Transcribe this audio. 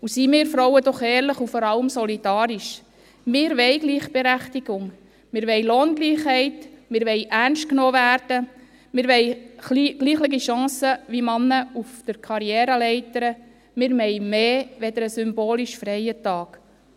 Seien wir Frauen doch ehrlich und vor allem solidarisch: Wir wollen Gleichberechtigung, wir wollen Lohngleichheit, wir wollen ernst genommen werden, wir wollen gleiche Chancen auf der Karriereleiter wie Männer, wir wollen mehr als einen symbolisch freien Tag.